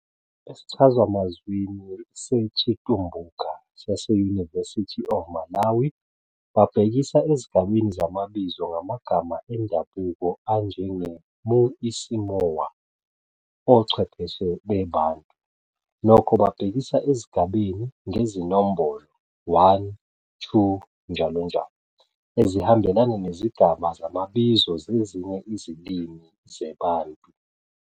Esichazamazwini seCitumbuka sase-University of Malawi, babhekisa ezigabeni zamabizo ngamagama endabuko anjenge "Mu-isimoa- Ochwepheshe beBantu, nokho, babhekisa ezigabeni ngezinombolo, 1-2 njll. Ezihambelana nezigaba zamabizo zezinye izilimi zeBantu.